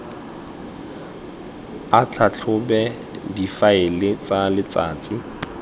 a tlhatlhobe difaele tsa letsatsi